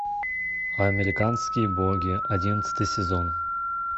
американские боги одиннадцатый сезон